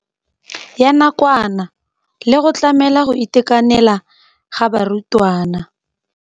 Ya nakwana le go tlamela go itekanela ga barutwana.